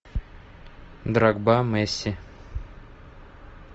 дрогба месси